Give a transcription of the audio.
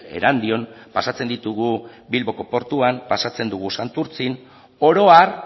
erandion pasatzen ditugu bilboko portuan pasatzen ditugu santurtzin oro har